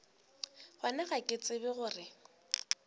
gona ga ke tsebe gore